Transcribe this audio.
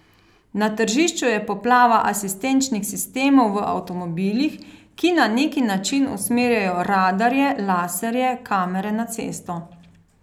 Na tržišču je poplava asistenčnih sistemov v avtomobilih, ki na neki način usmerjajo radarje, laserje, kamere na cesto.